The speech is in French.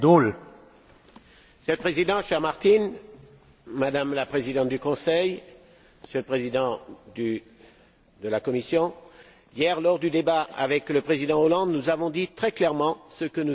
Monsieur le Président, cher Martin, Madame la Présidente du Conseil, Monsieur le Président de la Commission, hier, lors du débat avec le président Hollande, nous avons dit très clairement ce que nous attendons du Conseil.